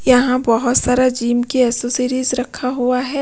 यहां बहुत सारा जीम की एक्सेसरीज रखा हुआ है।